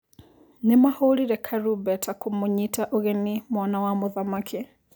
Nĩmahũrire karumbeta kũmũnyita ũgeni mwana wa mũthamaki.